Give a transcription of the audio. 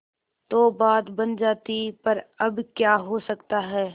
तो बात बन जाती पर अब क्या हो सकता है